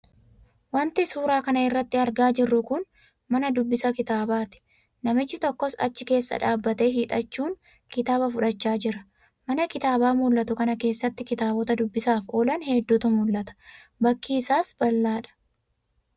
Wanti suuraa kana irratti argaa jirru kun, mana dubbisa kitaabaati. Namichi tokkos achi keessa dhaabatee hiixachuun kitaaba fudhachaa jira. Mana kitaabaa mullatu kana keessattis kitaabota dubbisaaf oolan heddutu mullata. Bakki isaas bal'aadha.